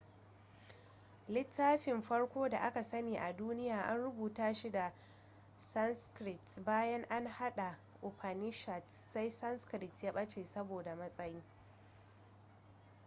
littafin farko da aka sani a duniya an rubuta shi da sanskrit bayan an haɗa upanishads sai sanskrit ya ɓace saboda matsayi